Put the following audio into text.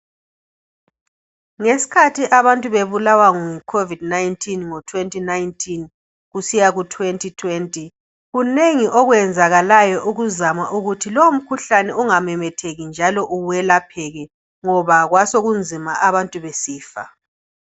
Ngesikhathi abantu bebulawa nguCovid19 ngo 2019 kusiya ku 2020, kunengi okwenzakalayo ukuzama ukuthi lowo umkhuhlane ungamemetheki njalo welapheke ngoba kwasokunzima abantu besifa.